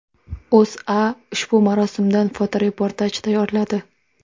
O‘zA ushbu marosimdan fotoreportaj tayyorladi .